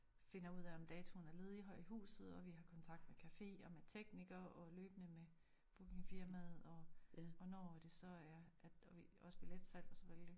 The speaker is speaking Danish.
Finder ud af om datoen er ledig her i huset og vi har kontakt med café og med teknikere og løbende med bookingfirmaet og og når det så er at og vi også billetsalg selvfølgelig